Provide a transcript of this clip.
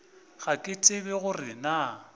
ga ke tsebe gore na